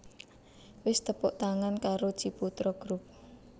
Wis tepuk tangan karo Ciputra Group